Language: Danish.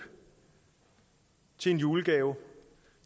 til en julegave